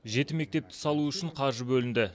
жеті мектепті салу үшін қаржы бөлінді